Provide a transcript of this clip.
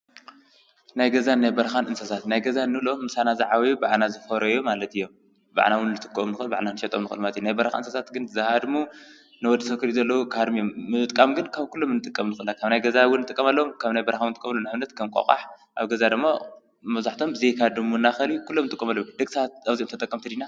ናይ ገዛን ናይ በርኻን እንሰሳት፡- ናይ ገዛ እንብሎ ምሳና ዝዓብዩ ባኣና ዝፈረዮ ማለት እዮም፡፡ በኣና ውን ልጥቆሙ ልኽእሉ ባዕልና ንሸጦም ኑ ቕልማቲ ናይ በርኻ እንሰሳት ግን ዝሃድሙ ንወዲ ሰብ ክሪኡ ከለዉ ዝሃድሙ አዩም፡፡ ምጥቃም ግን ካብ ኲሎም ንጥቀም ንኽእል ኢና፡፡ ካብ ናይ ገዛ ውን ጥቀመሎዎም ካብ ናይ በርኻ ውን ንጥቀምሉ ንኣብነት ከም ቋቓሕ ኣብ ገዛ ደሞ መብዛሕቶም ብዘይካ ድሙ እና ኸልቢ ኲሎም ንጥቀመሎም ደቂ ሰባት ኣብዚኦም ተጠቀምቲ ዲና?